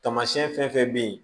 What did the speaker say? Tamasiyɛn fɛn fɛn bɛ yen